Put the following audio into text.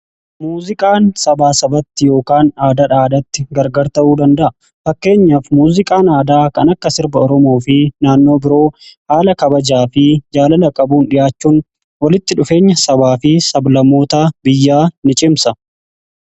Muuziqaan sabaa sabatti yookaan aadaadhaa aadatti gargar ta'uu danda'a. Fakkeenyaaf muuziqaan aadaa kan akka sirba oromoo fi naannoo biroo haala kabajaa fi jaalala qabuun dhi'aachuun walitti dhufeenya sabaa fi sab-lammoota biyyaa ni cimsa.